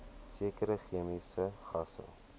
sekere chemiese gasse